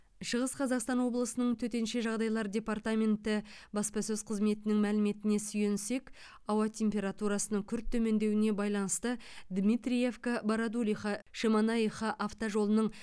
шығыс қазақстан облысының төтенше жағдайлар департаменті баспасөз қызметінің мәліметіне сүйенсек ауа температурасының күрт төмендеуіне байланысты дмитриевка бородулиха шемонаиха автожолының